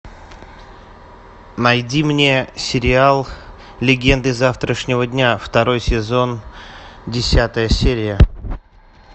найди мне сериал легенды завтрашнего дня второй сезон десятая серия